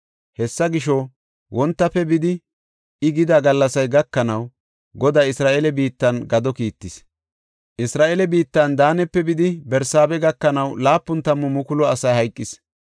Hessa gisho, wontafe bidi I gida gallasay gakanaw Goday Isra7eele biittan gado kiittis. Isra7eele biittan Daanepe bidi Barsaabe gakanaw laapun tammu mukulu asi hayqis.